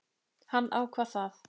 Hann ákvað það.